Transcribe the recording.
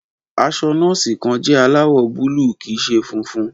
Aṣọ nọ́ọ̀sì kan jẹ́ aláwọ̀ búlúù kì í ṣe funfun.